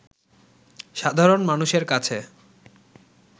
সাধারণ মানুষের কাছে